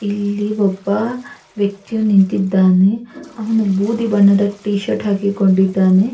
ಈ ಚಿತ್ರದಲ್ಲಿ ಒಂದು ಕಾರ್ಖಾನೆ ನೋಡುವದಕ್ಕೆ ಸಿಗುತ್ತದೆ.